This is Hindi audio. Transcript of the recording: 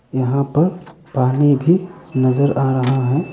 यहां पर पानी भी नजर आ रहा है।